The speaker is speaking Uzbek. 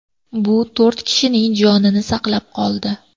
Bu to‘rt kishining jonini saqlab qoldi.